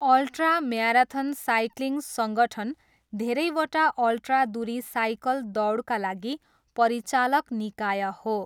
Ultra marathon cycling सङ्गठन् धेरैवटा ultra दुरी साइकल दौडका लागि परिचालक निकाय हो।